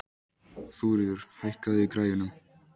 Þuríður, hækkaðu í græjunum.